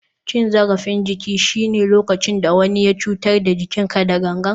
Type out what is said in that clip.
Cin zarafin jiki shine lokacin da wani ya cutar da jikinka da gangan.